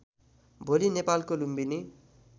भोलि नेपालको लुम्बिनी